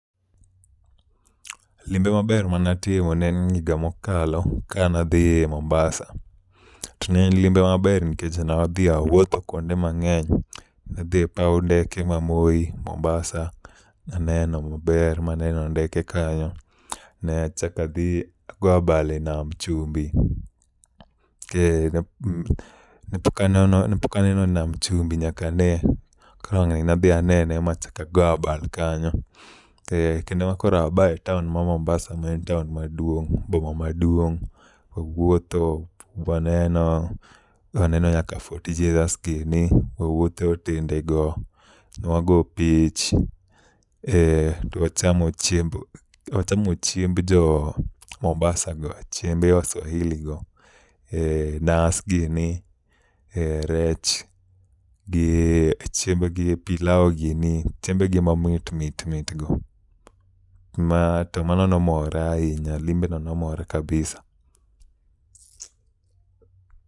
Limbe maber manatimo ne en higa mokalo ka nadhi Mombasa, to en limbe maber nikech ne adhi awuotho kwonde mang'eny, ne adhi e paw ndeke ma Moi Mombasa aneno maber ma neno ndeke kanyo neachak adhi ago abal e nam chimbi mh me pok aneno pok aneno nam chumbi kane wangni adhi anene ka go abal kanyo mh kendo abae taon ma Mombasa no en taon ma dwong' boma ma dwong' wawuotho, waneno ,waneno nyaka Fort Jesus gini, wawuothe otende go wago pich e wachamo chiemb wachamo chiemb jo Mombasa go chiemb jo waswahili go e nas gini, e rech, chiem gi i pilau gini chiembegi ma mit mit mit go ma to mano nomora ahimya limbe no nomora kabisa.